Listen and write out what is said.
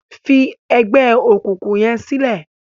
fí ègbé òkùnkùn yén silẹ!